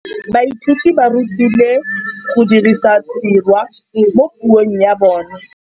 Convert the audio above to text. Baithuti ba rutilwe go dirisa tirwa mo puong ya bone.